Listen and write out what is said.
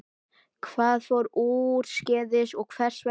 Hvað fór úrskeiðis og hvers vegna?